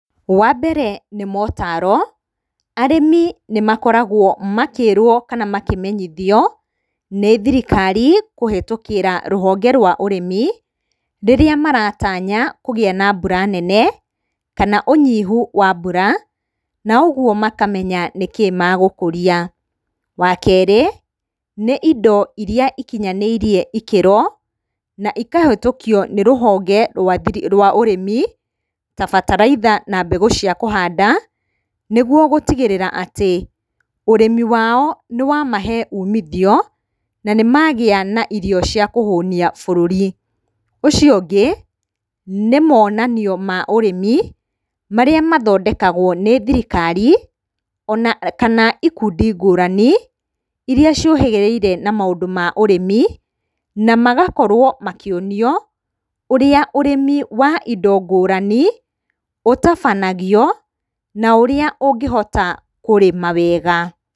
Wa mbere nĩ motaro, arĩmi nĩmakoragwo makĩrwo kana makĩmenyithio nĩ thirikari kũhĩtũkĩra rũhonge rwa ũrĩmi rĩrĩa maratanya kũgĩa na mbura nene, kana ũnyihu wa mbura, na ũguo makamenya nĩkĩ megũkũria. Wa kerĩ, nĩ indo irĩa ikinyanĩirie ikĩro na ikahĩtũkio nĩ rũhonge rwa ũrĩmi, ta bataraitha na mbegũ cia kũhanda, nĩguo gũtigĩrĩra atĩ, ũrĩmi wao nĩwamahe umithio na nĩmagĩa na irio cia kũhũnia bũrũri. Ũcio ũngĩ, nĩ monanio ma ũrĩmi marĩa mathondekagwo nĩ thirikari ona kana ikundi ngũrani irĩa ciũhĩgĩrĩire na maũndũ ma ũrĩmi na magakorwo makĩonio ũrĩa ũrĩmi wa indo ngũrani ũtabanagio na ũrĩa ũngĩhota kũrĩma wega.